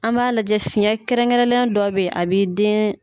An b'a lajɛ fiyɛn kɛrɛn kɛrɛnlen dɔw bɛ ye a bi den